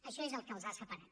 això és el que els ha separat